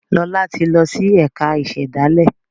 Lọla tí lọ sì ẹka ìsèdálè.